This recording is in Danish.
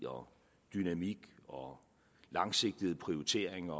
dynamik langsigtede prioriteringer